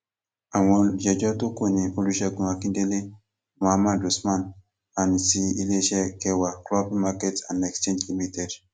àwọn olùjẹjọ tó kù ni olùṣègùn akíndélé mohammed usman àti iléeṣẹ gẹwà cloppy market and exchange limited